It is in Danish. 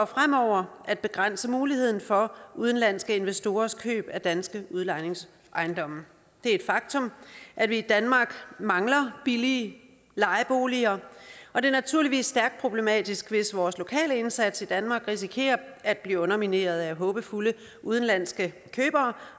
fremover at begrænse muligheden for udenlandske investorers køb af danske udlejningsejendomme det er et faktum at vi i danmark mangler billige lejeboliger og det er naturligvis stærkt problematisk hvis vores lokale indsats i danmark risikerer at blive undermineret af håbefulde udenlandske købere